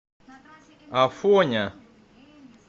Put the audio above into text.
афоня